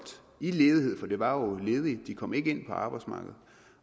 i ledighed for de var jo ledige de kom ikke ind på arbejdsmarkedet